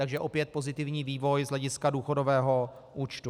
Takže opět pozitivní vývoj z hlediska důchodového účtu.